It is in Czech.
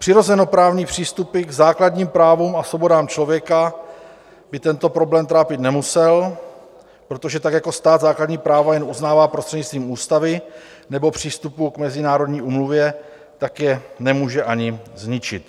Přirozenoprávní přístupy k základním právům a svobodám člověka by tento problém trápit nemusel, protože tak jako stát základní práva jen uznává prostřednictvím ústavy nebo přístupu k mezinárodní úmluvě, tak je nemůže ani zničit.